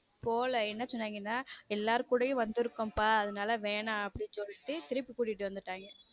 போல என்ன சொன்னாங்கன்னா எல்லாரும் கூடயும் வந்திருக்கும் பா அதனால வேணாம் அப்படின்னு சொல்லிட்டு திருப்பி கூட்டிட்டு வந்துட்டாங்க.